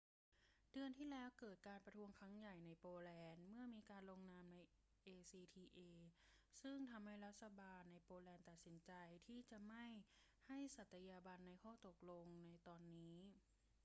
เดือนที่แล้วเกิดการประท้วงครั้งใหญ่ในโปแลนด์ เมื่อมีการลงนามใน acta ซึ่งทำให้รัฐบาลโปแลนด์ตัดสินใจที่จะไม่ให้สัตยาบันในข้อตกลงในตอนนี้